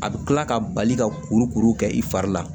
A bɛ kila ka bali ka kuru kuru kɛ i fari la